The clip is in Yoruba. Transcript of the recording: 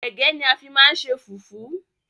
Égẹ́ ni a fi máa ń ṣe fùfú